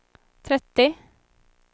trettio